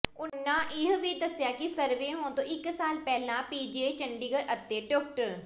ਉਨ੍ਹਾਂ ਇਹ ਵੀ ਦੱਸਿਆ ਕਿ ਸਰਵੇ ਹੋਣ ਤੋਂ ਇੱਕ ਸਾਲ ਪਹਿਲਾਂ ਪੀਜੀਆਈ ਚੰਡੀਗੜ੍ਹ ਅਤੇ ਡਾ